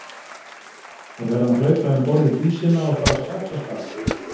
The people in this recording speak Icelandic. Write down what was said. Við verðum að hlaupa um borð í Dísina og fara strax af stað.